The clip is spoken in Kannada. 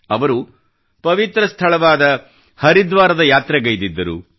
ಅವರು ಪವಿತ್ರ ಸ್ಥಳವಾದ ಹರಿದ್ವಾರದ ಯಾತ್ರೆಗೈದಿದ್ದರು